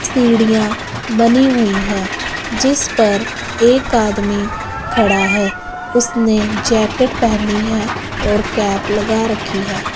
सीढ़ियां बनी हुई है जिस पर एक आदमी खड़ा है उसने जैकेट पेहनी है और कैप लगा रखी है।